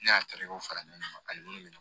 Ne y'a tali kɛ fara ɲɔgɔn ani minnu